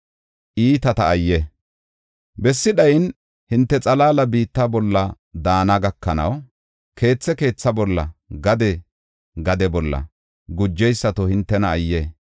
Bessi dhayin, hinte xalaala biitta bolla daana gakanaw, keethe keetha bolla, gade gade bolla, gujeysato hintena ayye!